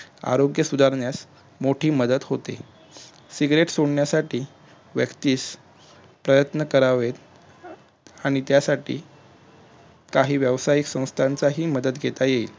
आरोग्य सुधारण्यास मोठी मदत होते सिगरेट सोडण्यासाठी व्यक्तीस प्रयत्न करावेत अं आणि त्यासाठी काही व्यवसायिक सवस्थांचा ही मदत घेता येईल